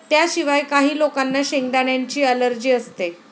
त्याशिवाय, काही लोकांना शेंगदाण्यांची अलर्जी असते.